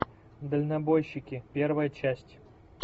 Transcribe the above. дальнобойщики первая часть